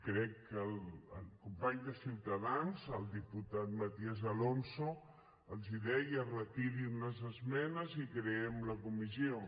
crec que el company de ciutadans el diputat matías alonso els deia retirin les esmenes i creem la comissió